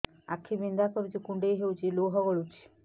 ଆଖି ବିନ୍ଧା କରୁଛି କୁଣ୍ଡେଇ ହେଉଛି ଏବଂ ଲୁହ ଗଳୁଛି